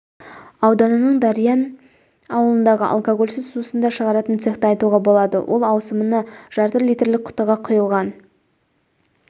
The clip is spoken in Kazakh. ауданының дариян ауылындағы алкогольсіз сусындар шығаратын цехты айтуға болады ол ауысымына жарты литрлік құтыға құйылған